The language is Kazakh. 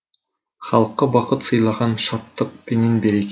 халыққа бақыт сыйлаған шаттық пенен береке